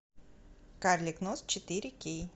карлик нос четыре кей